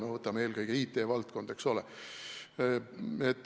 Eelkõige on see IT-valdkond, eks ole.